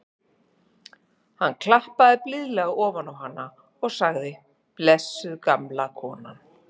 Hann klappaði blíðlega ofan á hana og sagði: blessuð gamla konan.